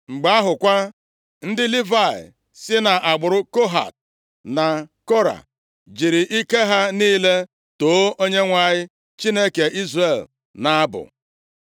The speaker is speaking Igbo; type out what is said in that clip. Mgbe ahụ kwa, ndị Livayị si nʼagbụrụ Kohat na Kora jiri ike ha niile too Onyenwe anyị Chineke Izrel nʼabụ.